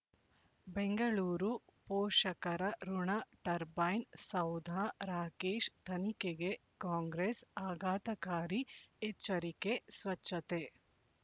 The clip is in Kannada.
ಬೆಂಗಳೂರು ಪೋಷಕರಋಣ ಟರ್ಬೈನು ಸೌಧ ರಾಕೇಶ್ ತನಿಖೆಗೆ ಕಾಂಗ್ರೆಸ್ ಆಘಾತಕಾರಿ ಎಚ್ಚರಿಕೆ ಸ್ವಚ್ಛತೆ